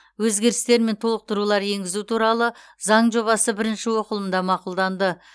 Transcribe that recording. өзгерістер мен толықтырулар енгізу туралы заң жобасы бірінші оқылымда мақұлданды